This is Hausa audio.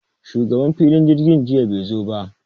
Shugaban filin jirgin jiya be zo ba